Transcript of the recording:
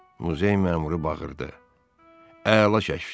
Muzey məmuru bağırdı: “Əla çəkdi!